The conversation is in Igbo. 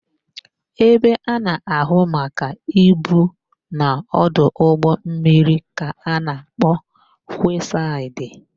Ebe a na-áhụ̀ maka ibu n'ọdụ ụgbọmmiri ka a na-akpọ kwesaịdị.